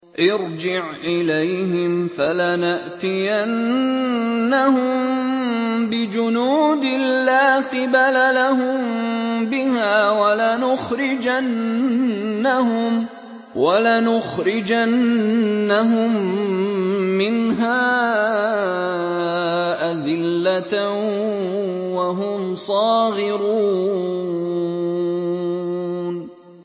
ارْجِعْ إِلَيْهِمْ فَلَنَأْتِيَنَّهُم بِجُنُودٍ لَّا قِبَلَ لَهُم بِهَا وَلَنُخْرِجَنَّهُم مِّنْهَا أَذِلَّةً وَهُمْ صَاغِرُونَ